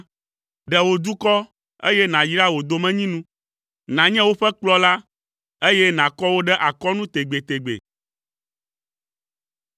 Ɖe wò dukɔ, eye nàyra wò domenyinu; nànye woƒe kplɔla, eye nàkɔ wo ɖe akɔnu tegbetegbe.